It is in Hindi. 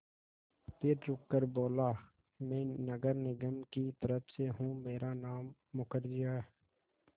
फिर रुककर बोला मैं नगर निगम की तरफ़ से हूँ मेरा नाम मुखर्जी है